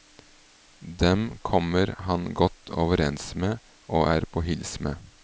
Dem kommer han godt overens med og er på hils med.